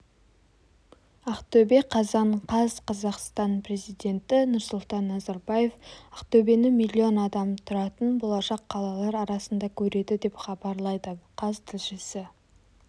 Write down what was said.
ақтөбе қазан қаз қазақстан президенті нұрсұлтан назарбаев ақтөбені миллион адам тұратын болашақ қалалар арасында көреді деп хабарлайды қаз тілшісі